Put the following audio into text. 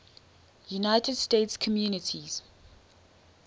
united states communities